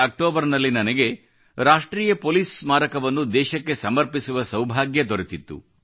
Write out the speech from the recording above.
ಅಕ್ಟೋಬರ್ನಲ್ಲಿ ನನಗೆ ರಾಷ್ಟ್ರೀಯ ಪೋಲಿಸ್ ಸ್ಮಾರಕವನ್ನು ದೇಶಕ್ಕೆ ಸಮರ್ಪಿಸುವ ಸೌಭಾಗ್ಯ ದೊರೆತಿತ್ತು